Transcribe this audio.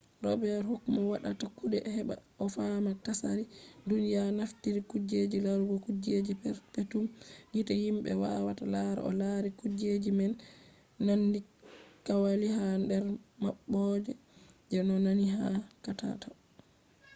robet huk mo waɗata kuɗe heɓa o fama tsari duniya naftiri kuje larugo kujeji perpetum gite himɓe wawata lara o lari kuje je nandi kwali ha nder maɓɓode je ɗo nandi ba katako